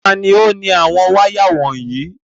Ta ni ó ni àwọn wáyà wọ̀nyí?